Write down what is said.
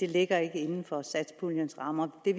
ligger inden for satspuljens rammer det